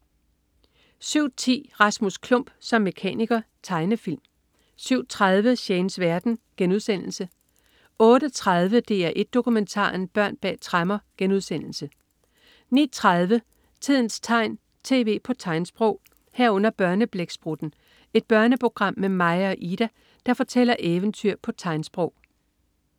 07.10 Rasmus Klump som mekaniker. Tegnefilm 07.30 Shanes verden* 08.30 DR1 Dokumentaren. Børn bag tremmer* 09.30 Tidens tegn, tv på tegnsprog 09.30 Børneblæksprutten. Et børneprogram med Maja og Ida, der fortæller eventyr på tegnsprog